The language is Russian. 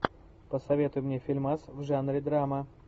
посоветуй мне фильмас в жанре драма